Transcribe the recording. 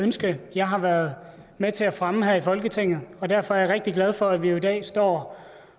ønske jeg har været med til at fremme her i folketinget derfor er jeg rigtig glad for at vi i dag står